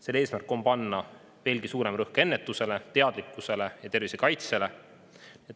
Selle eesmärk on panna veelgi suurem rõhk ennetusele, teadlikkusele ja tervisekaitsele.